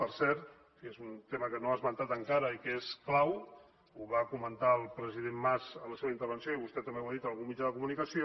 per cert és un tema que no ha esmentat encara i que és clau ho va comentar el president mas en la seva intervenció i vostè també ho ha dit en algun mitjà de comunicació